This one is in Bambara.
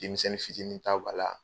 Dimimisɛnin fitininini taw b'a la.